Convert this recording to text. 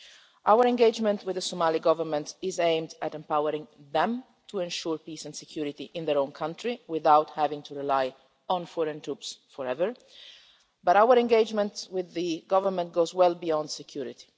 Our engagement with the Somali Government is aimed at empowering them to ensure peace and security in their own country without having to rely on foreign troops forever, but our engagement with the Government goes well beyond security.